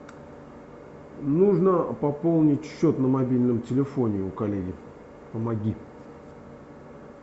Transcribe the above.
нужно пополнить счет на мобильном телефоне у коллеги помоги